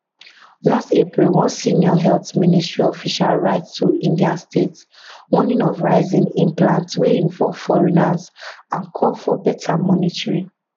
last april one senior health ministry official write to indian states warning of rise in transplants wey involve foreigners and call for better monitoring